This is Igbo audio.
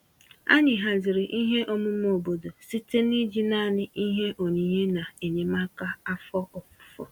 Anyị haziri ihe omume obodo site n'iji naanị ihe onyinye na enyemaka afọ ofufo.